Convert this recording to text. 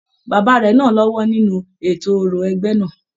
Bàbá rẹ náà l'ọwọ nínú ètò òrò ẹgbẹ náà.